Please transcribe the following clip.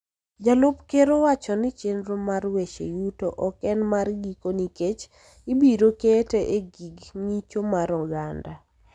Jalup Ker owacho ni chenro mar weche yuto ok en mar giko nikech ibiro kete e gi ng�icho mar oganda.